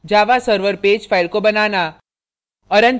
जावा server page file को बनाना